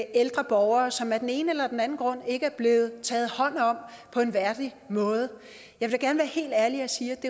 ældre borgere som der af den ene eller den anden grund ikke er blevet taget hånd om på en værdig måde